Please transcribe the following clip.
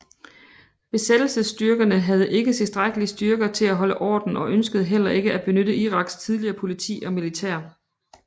Besættelsesstyrkerne havde ikke tilstrækkelige styrker til at holde orden og ønskede heller ikke at benytte Iraks tidligere politi og militær